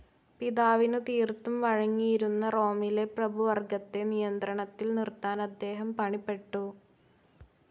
പിതാവിനു തീർത്തും വഴങ്ങിയിരുന്ന റോമിലെ പ്രഭുവർഗ്ഗത്തെ നിയന്ത്രണത്തിൽ നിർത്താൻ അദ്ദേഹം പണിപ്പെട്ടു.